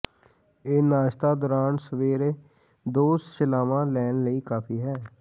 ਇਹ ਨਾਸ਼ਤਾ ਦੌਰਾਨ ਸਵੇਰੇ ਦੋ ਸ਼ਿਲਾਵਾ ਲੈਣ ਲਈ ਕਾਫ਼ੀ ਹੈ